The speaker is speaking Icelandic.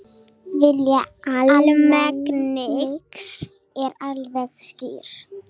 Vilji almennings er alveg skýr